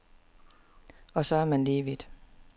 Og så er man lige vidt.